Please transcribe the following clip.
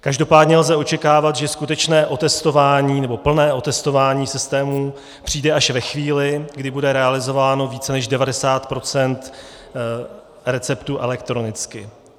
Každopádně lze očekávat, že skutečné otestování, nebo plné otestování systému přijde až ve chvíli, kdy bude realizováno více než 90 % receptů elektronicky.